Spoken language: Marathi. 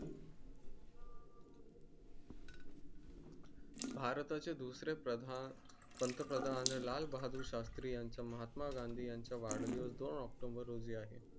भारता चे दुसरे प्रधान पंतप्रधान लाल बहादूर शास्त्री यांचे महात्मा गांधी यांचा वाढदिवस दोन october रोजी आहे.